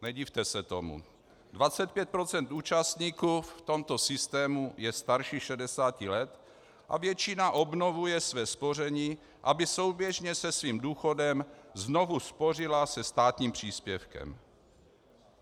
Nedivte se tomu - 25 % účastníků v tomto systému je starších 60 let a většina obnovuje své spoření, aby souběžně se svým důchodem znovu spořila se státním příspěvkem.